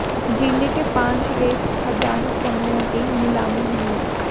जिले के पांच रेत खदान समूहों की नीलामी हुई